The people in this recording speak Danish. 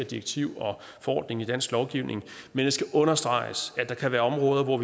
direktiv og forordning i dansk lovgivning men jeg skal understrege at der kan være områder hvor